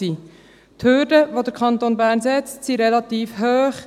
Die Hürden, die der Kanton Bern setzt, sind relativ hoch;